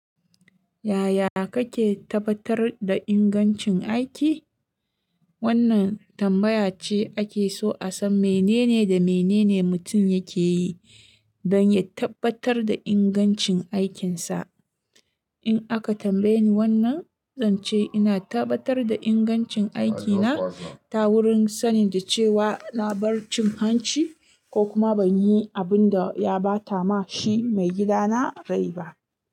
Yaya kake tabbatar da ingancin aiki? Wannan tambaya ce ake so a san menene da menene mutum yake yi don ya tabbatar da ingancin aikinsa. In aka tambaye ni wannan, zan ce ina tabbatar da ingancin aikina ta wurin sanin da cewa na bar cin hanci ko kuma ban yi abin da ya ba ta ma shi maigidana rai ba.